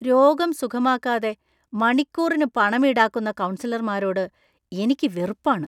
രോഗം സുഖമാക്കാതെ മണിക്കൂറിനു പണം ഈടാക്കുന്ന കൗൺസലർമാരോട് എനിക്ക് വെറുപ്പാണ്.